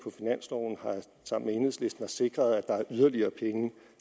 sammen med enhedslisten sikret at der er yderligere penge